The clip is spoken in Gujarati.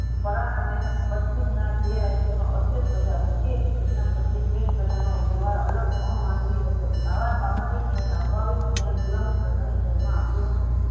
પરિણામે પશ્ચિમના જે રાજ્યમાં અસ્વેત પ્રજા રહેતી હતી તેમના પ્રત્યે સવેત પ્રજાનો વ્યવહાર અલગ અમાનવી હતો. આવા સામાજિક ન્યાયને અભાવિક તેના ગોલામી પ્રથા ને ધ્યાન માં આપ્યો હતો